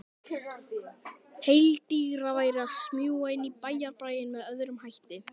Heilladrýgra væri að smjúga inn í bæjarbraginn með öðrum hætti.